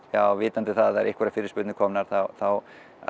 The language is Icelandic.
vitandi að það séu einhverjar fyrirspurnir komnar þá